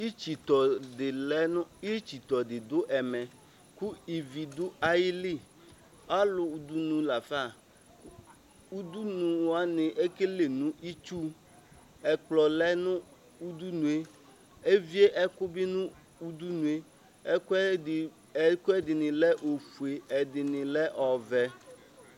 Itsitɔ didʋ ɛmɛ kʋ ivi dʋ ayili alʋ dʋnʋ lafa ʋdʋnʋ wani ekele nʋ itsu ɛkplɔlɛ nʋ ʋdʋnʋe evie ɛkʋbi nʋ ʋdʋnʋe ɛkʋɛdini lɛ ofʋe ɛdini lɛ ɔvɛ